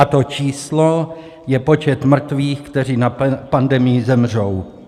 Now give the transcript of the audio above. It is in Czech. A to číslo je počet mrtvých, kteří na pandemii zemřou.